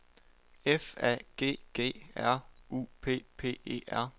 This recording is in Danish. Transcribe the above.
F A G G R U P P E R